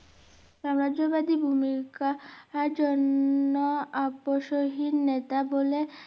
সামাজ্য বাদী ভুমিকার জন্য আবশ্য হীন নেতা বলে